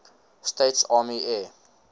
states army air